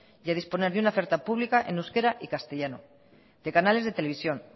y a disponer de una oferta pública en euskera y castellano de canales de televisión